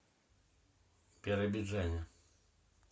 биробиджане